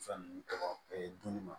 Fɛn ninnu tɔgɔ dun ni ma